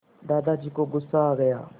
दादाजी को गुस्सा आ गया